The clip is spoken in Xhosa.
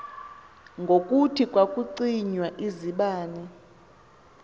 ngokuthi kwakucinywa izibane